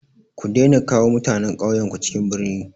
Ku daina kawo mutanen ƙauyenku cikin birni!